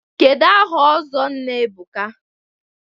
Kedụ aha ọzọ Nna Ebuka?